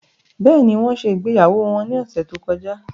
Bẹ́ẹ̀ni, wọn ṣe ìgbéyàwó wọn ní ọ̀sẹ̀ tó kọjá